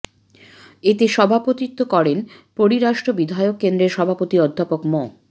এতে সভাপতিত্ব করেন পরিরাষ্ট্র বিষয়ক কেন্দ্রের সভাপতি অধ্যাপক মো